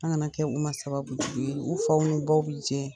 An' ŋana kɛ u ma sababu jugu ye. U faw n'u baw be je.